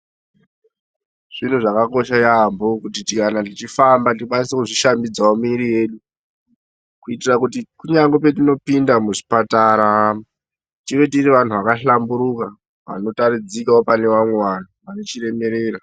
Zviro zvakakosha yaambo kuti kana tichifamba tikwanise kuzvishambidzawo miiri yedu, kuitira kuti kunyangwe petinopinda muzvipatara tive tiri vanhu vakahlamburuka, vanotaridzikawo pane vamwe vanhu, vane chiremerera.